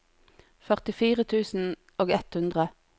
førtifire tusen og ett hundre